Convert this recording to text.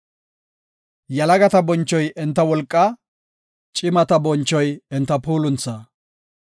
Yalagata bonchoy enta wolqaa; cimata bonchoy enta puulunthaa.